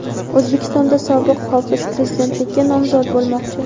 O‘zbekistonda sobiq hofiz prezidentlikka nomzod bo‘lmoqchi.